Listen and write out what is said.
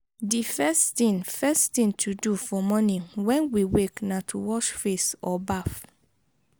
di first thing first thing to do for morning when we wake na to wash face or bath